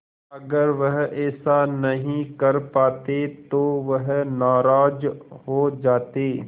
अगर वह ऐसा नहीं कर पाते तो वह नाराज़ हो जाते